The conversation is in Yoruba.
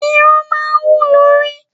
Irun máa ń hù lórí.